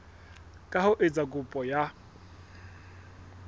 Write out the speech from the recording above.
ka ho etsa kopo ya